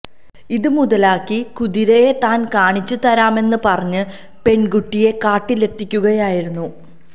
ഇത് മുതലാക്കി കുതിരയെ താന് കാണിച്ച് തരാമെന്ന് പറഞ്ഞ് പെണ്കുട്ടിയെ കാട്ടിലെത്തിക്കുകയായിരുന്നു